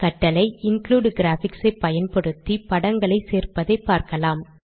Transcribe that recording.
கட்டளை include graphics ஐ பயன்படுத்தி படங்களை சேர்ப்பதை பார்க்கலாம்